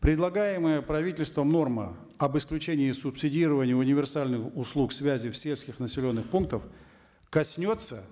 предлагаемая правительством норма об исключении субсидирования универсальных услуг связи сельских населенных пунктов коснется